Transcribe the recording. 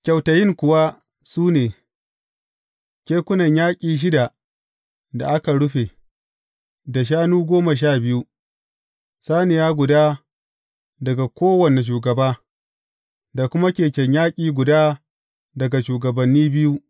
Kyautayin kuwa su ne, kekunan yaƙi shida da aka rufe, da shanu goma sha biyu, saniya guda daga kowane shugaba, da kuma keken yaƙi guda daga shugabanni biyu.